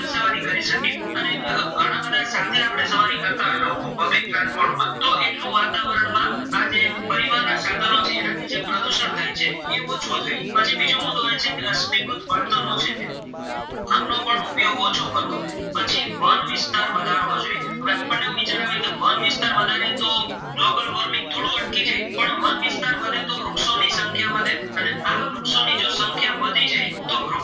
તો વૃક્ષ